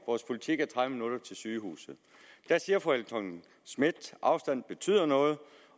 vores politik er tredive minutter til sygehuset fru helle thorning schmidt at afstanden betyder noget